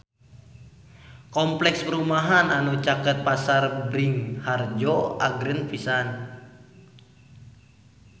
Kompleks perumahan anu caket Pasar Bringharjo agreng pisan